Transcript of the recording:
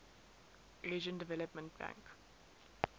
asian development bank